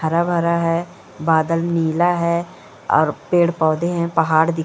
हरा-भरा है बादल नीला है और पेड़-पौधे हैं पहाड़ दि --